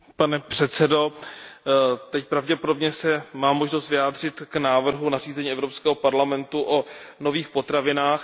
Pane předsedající, teď pravděpodobně mám možnost se vyjádřit k návrhu nařízení Evropského parlamentu a Rady o nových potravinách.